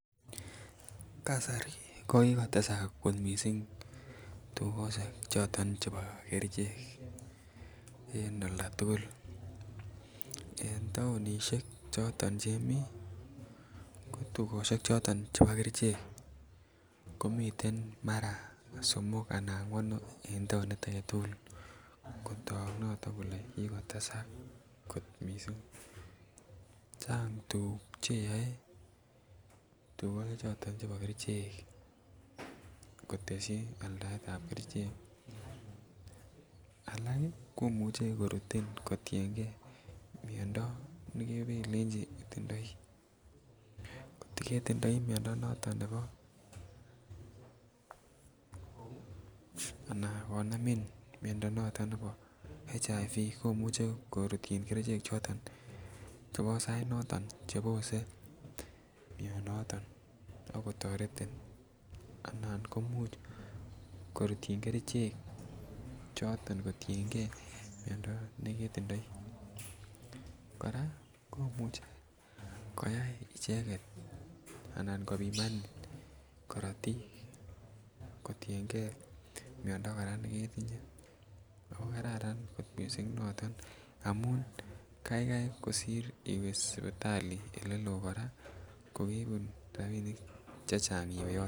Kasari ko kikotesa missing tukoshek choton chebo kerichek en olda tukul en townishek choton chemii ko tukoshek choton chebo kerichek komiten mara somok anan angwanu en townit agetukul kotok noto kole kikotesak kot missing. Change tukuk cheyoe tukoshek choton chebo kerichek koteshi aldaetab kerichek. Alak kii komuche korutin kotiyengee miondo nekepelenjj itindoi, kotko ketindoi miondo noton nebo anan ko namin miondo noton nebo HIV komuche korutin kerichek choton chebo sait noton chebose mionoton ak kotoret ana komuch korutyin kerichek choton kotiyengee miondo neketindoi. Koraa komuche koyai icheket anan kopimani korotik kotiyengee miondo koraa neketinye ako kararan kot missing noton amun kaikai kosir iwee sipitali oleloo Koraa kokebun rabinik chechang iwee yoton.